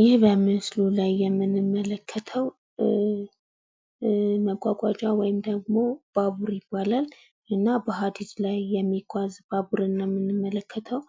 ይህ በምስሉ ላይ የምንመለከተው መጓጓዣ ወይም ደሞ ባቡር ይባላል። እና በሀዲድ ላይ የሚጓዝ ባቡርን ነው የምንመለከተው።